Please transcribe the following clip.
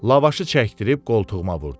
Lavaşı çəkdirib qoltuğuma vurdu.